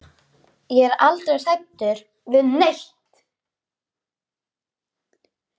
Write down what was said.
Ég er aldrei hrædd við neitt.